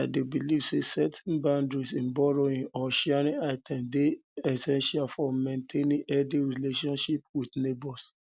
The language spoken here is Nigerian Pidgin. i dey believe say setting boundaries in borrowing or sharing items dey essential for maintaining healthy relationships healthy relationships with neighbors